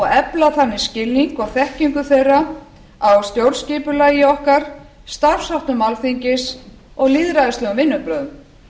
efla þannig skilning og þekkingu þeirra á stjórnskipulagi okkar starfsháttum alþingis og lýðræðislegum vinnubrögðum